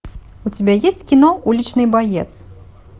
у тебя есть кино уличный боец